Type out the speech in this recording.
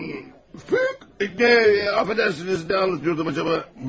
Bir, də, affedersiniz, nə anlatıyordum acaba?